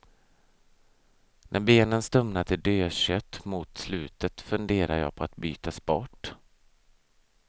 När benen stumnar till dödkött mot slutet funderar jag på att byta sport.